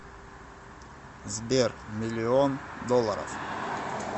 сбер миллион долларов